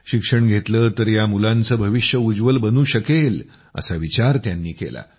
शिक्षण घेतलं तर या मुलांचं भविष्य उज्ज्वल बनू शकेल असा विचार त्यांनी केला